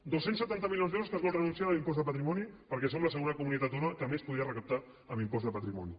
dos cents setanta milions d’euros a què es vol renunciar de l’impost de patrimoni perquè som la segona comunitat autònoma que més podria recaptar amb l’impost de patrimoni